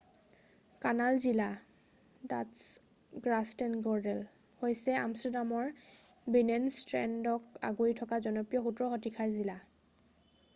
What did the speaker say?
Canal জিলা Dutch: Grachtengordel হৈছে আমষ্টাৰডামৰ বিনেনষ্টেডক আগুৰি থকা জনপ্ৰিয় 17শ-শতিকাৰ জিলা৷